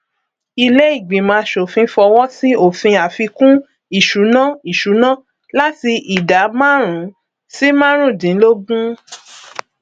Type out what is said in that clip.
iléìgbìmọ aṣòfin fọwọsí òfin àfikún ìṣúná ìṣúná láti ìdá márùn sí márùndínlógún